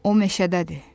O meşədədir.